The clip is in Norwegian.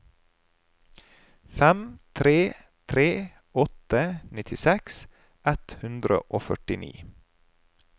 fem tre tre åtte nittiseks ett hundre og førtini